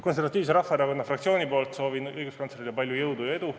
Konservatiivse Rahvaerakonna fraktsiooni nimel soovin õiguskantslerile palju jõudu ja edu.